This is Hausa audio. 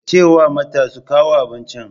Ka ce wa mata su kawo abincin.